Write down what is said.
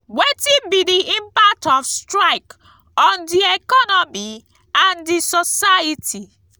wetin be di impact of strike on di economy and di society?